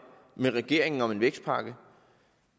med regeringen om en vækstpakke